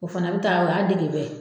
O fana bɛ taa o y'a dege